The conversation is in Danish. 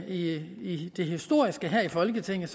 i det historiske her i folketinget